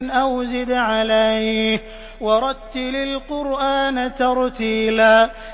أَوْ زِدْ عَلَيْهِ وَرَتِّلِ الْقُرْآنَ تَرْتِيلًا